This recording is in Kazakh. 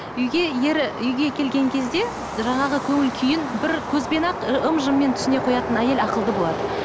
үйге ері үйге келген кезде жаңағы көңіл күйін бір көзбен ақ ым жыммен түсіне қоятын әйел ақылды болады